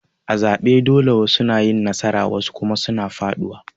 A zabe dole wasu na yin nasara wasu kuma suna faduwa.